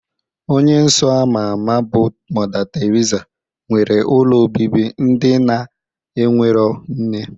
Onye nsọ ama ama bụ Mọda Teriza, nwere ụlọ obibi ndị na-enwerọ nne.